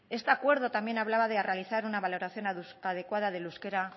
este acuerdo también hablaba de realizar una valoración adecuada del euskera